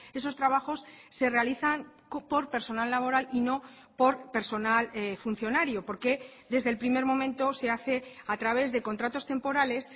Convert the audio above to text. esos trabajos se realizan por personal laboral y no por personal funcionario por qué desde el primer momento se hace a través de contratos temporales